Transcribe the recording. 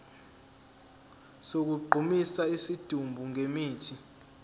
sokugqumisa isidumbu ngemithi